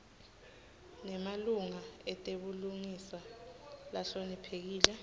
nemalunga etebulungiswa lahloniphekile